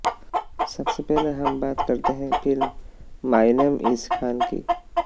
सबसे पहले हम बात करते हैं film my name is Khan की